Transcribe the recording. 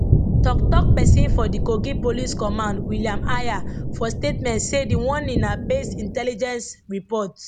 toktok pesin for di kogi police command william aya for statement say di warning na based intelligence report